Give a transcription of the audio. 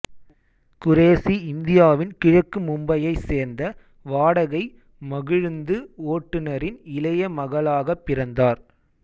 குரேசி இந்தியாவின் கிழக்கு மும்பையைச் சேர்ந்த வாடகை மகிழுந்து ஓட்டுநரின் இளைய மகளாகப் பிறந்தார்